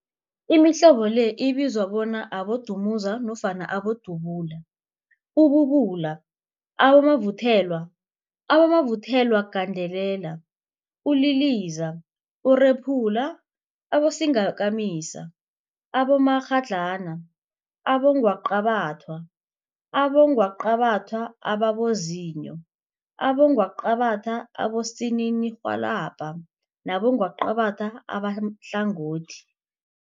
Imihlobo le ibizwa bona, Abodumuza nofana Abodubula, ububula, abomavuthelwa, abomavuthelwagandelela, uliliza, urephula, abosingakamisa, abomakghadlana, abongwaqabathwa, abongwaqabathwa ababozinyo, abongwaqabathwa abosininirhwalabha nabongwaqabatha abahlangothi.